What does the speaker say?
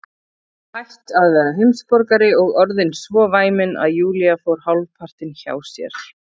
Hætt að vera heimsborgari og orðin svo væmin að Júlía fór hálfpartinn hjá sér.